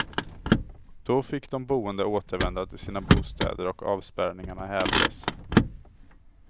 Då fick de boende återvända till sina bostäder och avspärrningarna hävdes.